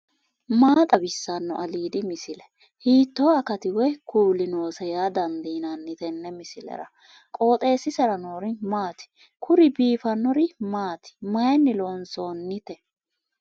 maa xawissanno aliidi misile ? hiitto akati woy kuuli noose yaa dandiinanni tenne misilera? qooxeessisera noori maati ? kuri biifannori maati mayinni loonsoonnite